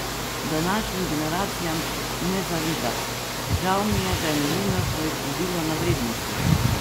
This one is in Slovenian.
Današnjim generacijam ne zavida: "Žal mi je, da je novinarstvo izgubilo na vrednosti.